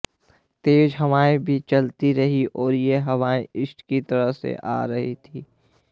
तेज हवाएं भी चलती रहीं और यह हवाएं ईस्ट की तरफ से आ रही थीं